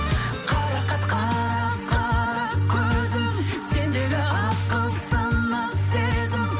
қарақат қара қара көзің сендегі ақыл сана сезім